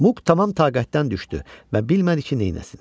Muk tamam taqətdən düşdü və bilmədi ki, neyləsin.